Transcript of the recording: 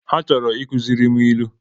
Ha chọrọ ịkụziri m ilu